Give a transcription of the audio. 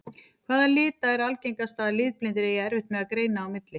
Hvaða lita er algengast að litblindir eigi erfitt með að greina á milli?